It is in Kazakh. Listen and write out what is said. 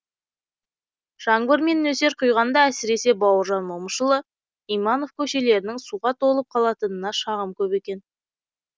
жаңбыр мен нөсер құйғанда әсіресе бауыржан момышұлы иманов көшелерінің суға толып қалатынына шағым көп екен